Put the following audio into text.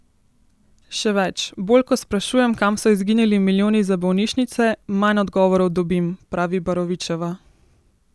Še več: "Bolj ko sprašujem, kam so izginili milijoni za bolnišnice, manj odgovorov dobim," pravi Barovičeva.